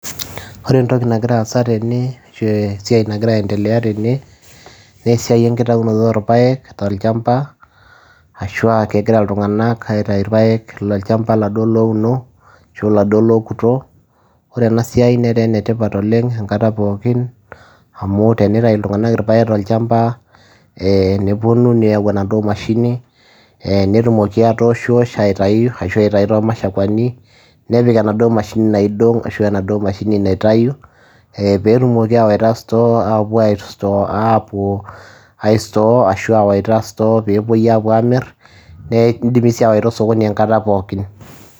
ore entoki nagir aasa tene, ashu esiai nagira aendelea tene, naa esiai enkitaunoto oorpaek tolchampa ashu aa kegira iltunganak autayu irpaek lolchampa iladuoo louno ashu iladuo lookuto. ore ena siai netaa ene tipat oleng enkata pookin amu tinitayu iltungank irpaek tolchampa, nepuonu neyau endauoo mashini. netumoki atooshiosh ashu aitayu asu aitayu too mashakuani, nepik enaduoo mashini naidong ashu enaduoo mahini naitayu eee pee etumoki aawaita store pee epuo ai store ashu aawaita store pee epuoi apuo aamir naa idim sii aawaita osokoni enkata pookin.